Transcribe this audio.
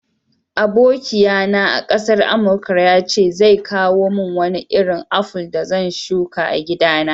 Abokiya na a'kasar amarka ya ce zai kawo mun Wani irin aful da zan shuka a'gida na.